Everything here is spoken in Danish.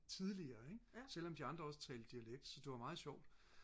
tidligere ikke selvom de andre også talte dialekt så det var jo meget sjovt